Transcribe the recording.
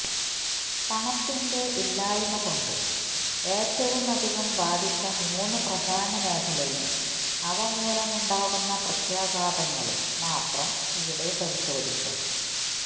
പണത്തിന്റെ ഇല്ലായ്മ കൊണ്ട് ഏറ്റവുമധികം ബാധിച്ച മൂന്ന് പ്രധാന മേഖലയും അവ മൂലമുണ്ടാകുന്ന പ്രത്യാഘാതങ്ങളും മാത്രം ഇവിടെ പരിശോധിക്കാം